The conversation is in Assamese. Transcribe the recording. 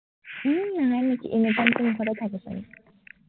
উম হয় নেকি, anytime দেখোন মুখতে থাকে